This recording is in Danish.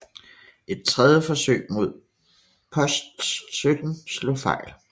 Et tredje forsøg mod Post 17 slog fejl